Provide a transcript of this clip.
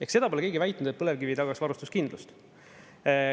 Ehk, seda pole keegi väitnud, et põlevkivi ei tagaks varustuskindlust.